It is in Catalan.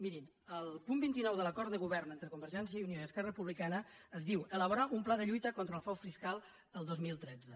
mirin al punt vint nou de l’acord de govern entre conver·gència i unió i esquerra republicana es diu elabo·rar un pla de lluita contra el frau fiscal el dos mil tretze